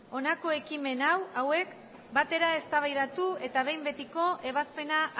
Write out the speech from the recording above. honako ekimen hauek batera eztabaidatu eta behin betiko ebazpena